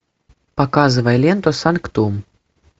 показывай ленту санктум